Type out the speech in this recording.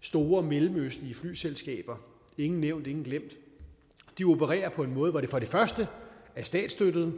store mellemøstlige flyselskaber ingen nævnt ingen glemt opererer på en måde hvor de for det første er statsstøttede